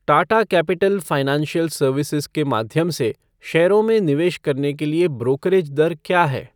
Tata capital financial services के माध्यम से शेयरों में निवेश करने के लिए ब्रोकरेज दर क्या है?